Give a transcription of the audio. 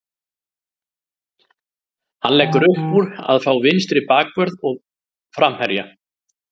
Hann leggur uppúr að fá vinstri bakvörð og framherja.